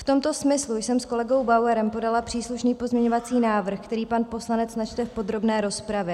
V tomto smyslu jsem s kolegou Bauerem podala příslušný pozměňovací návrh, který pan poslanec načte v podrobné rozpravě.